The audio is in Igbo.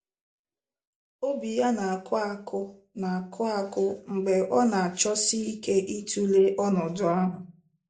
Obi ya na-akụ akụ na-akụ akụ mgbe ọ na-achọsị ike ịtụle ọnọdụ ahụ.